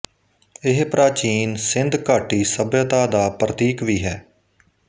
ਇਹ ਪ੍ਰਾਚੀਨ ਸਿੰਧ ਘਾਟੀ ਸਭਿਅਤਾ ਦਾ ਪ੍ਰਤੀਕ ਵੀ ਹੈ